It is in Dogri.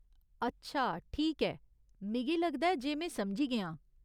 अच्छा ठीक ऐ, मिगी लगदा ऐ जे में समझी गेआं।